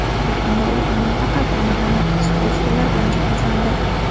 Yaqinda u amal-taqal ta’mirlanib, stol-stullar bilan jihozlandi.